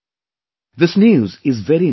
This news is very inspiring